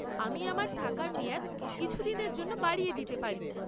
আমি আমার থাকার মেয়াদ কিছুদিনের জন্য বাড়িয়ে দিতে পারি।